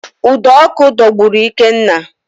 Ụdọ ọkụ dọgburu Ikenna